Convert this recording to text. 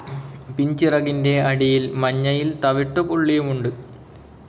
പിൻചിറകിന്റെ അടിയിൽ മഞ്ഞയിൽ തവിട്ടുപുള്ളിയുമുണ്ട്.